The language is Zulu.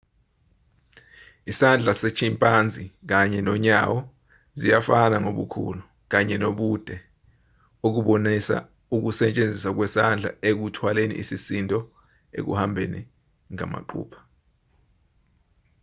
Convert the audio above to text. isandla se-chimpanzee kanye nonyawo ziyafana ngobukhulu kanye nobude okubonisa ukusetshenziswa kwesandla ekuthwaleni isisindo ekuhambeni ngamaqupha